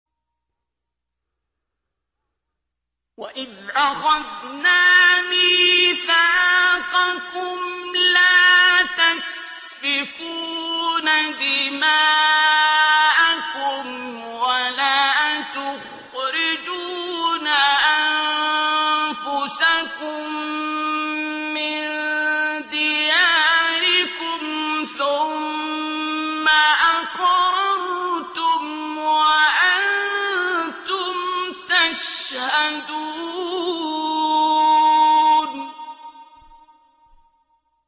وَإِذْ أَخَذْنَا مِيثَاقَكُمْ لَا تَسْفِكُونَ دِمَاءَكُمْ وَلَا تُخْرِجُونَ أَنفُسَكُم مِّن دِيَارِكُمْ ثُمَّ أَقْرَرْتُمْ وَأَنتُمْ تَشْهَدُونَ